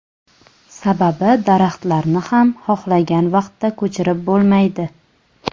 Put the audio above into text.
Sababi daraxtlarni ham xohlagan vaqtda ko‘chirib bo‘lmaydi.